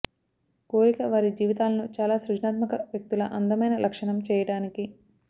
కోరిక వారి జీవితాలను చాలా సృజనాత్మక వ్యక్తుల అందమైన లక్షణం చేయడానికి